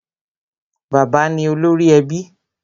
Bàbá ni olórí ẹbí.